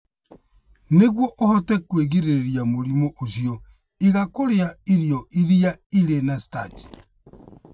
Nĩguo ũhote kwĩgirĩrĩria mũrimũ ũcio, iga kũrĩa irio iria irĩ na starch.